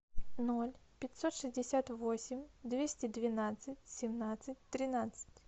ноль пятьсот шестьдесят восемь двести двенадцать семнадцать тринадцать